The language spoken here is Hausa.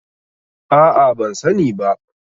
A'a ban sani ba.